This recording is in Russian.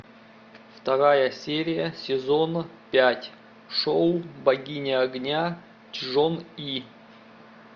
вторая серия сезон пять шоу богиня огня чжон и